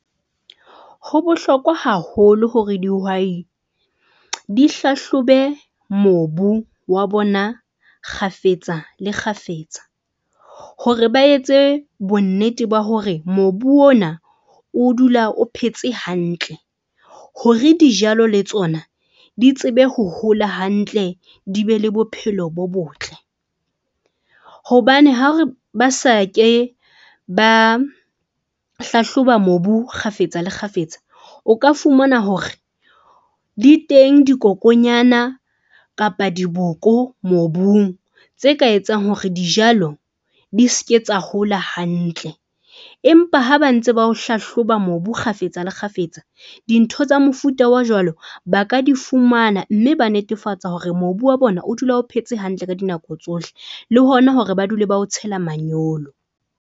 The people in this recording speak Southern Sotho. Ho bohlokwa haholo hore dihwai di hlahlobe mobu wa bona kgafetsa le kgafetsa. Hore ba etse bonnete ba hore mobu ona o dula o phetse hantle hore dijalo le tsona di tsebe ho hola hantle di be le bophelo bo botle. Hobane ha re ba sa ke ba hlahloba mobu kgafetsa le kgafetsa. O ka fumana hore di teng dikokonyana kapa diboko mobung tse ka etsang hore dijalo di se ke tsa hola hantle. Empa ha ba ntse ba o hlahloba mobu kgafetsa le kgafetsa. Dintho tsa mofuta o jwalo, ba ka di fumana, mme ba netefatsa hore mobu wa bona o dula o phetse hantle ka dinako tsohle, le hona hore ba dule ba o tshela manyolo.